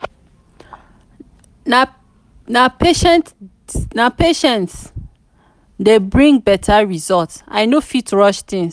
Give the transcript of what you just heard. na patient na patient dey bring better result i no fit rush things.